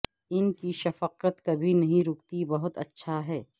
ان کی شفقت کبھی نہیں روکتی بہت اچھا ہے